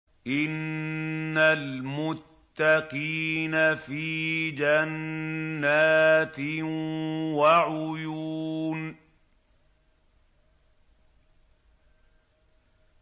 إِنَّ الْمُتَّقِينَ فِي جَنَّاتٍ وَعُيُونٍ